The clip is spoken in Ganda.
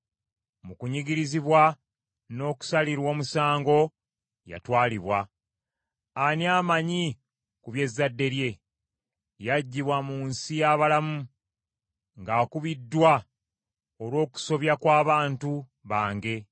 Mu kunyigirizibwa n’okusalirwa omusango yatwalibwa. Ani amanyi ku bye zadde lye? Yaggyibwa mu nsi y’abalamu, ng’akubiddwa olw’okusobya kw’abantu, bange.